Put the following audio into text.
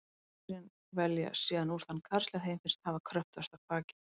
Kvendýrin velja síðan úr þann karl sem þeim finnst hafa kröftugasta kvakið.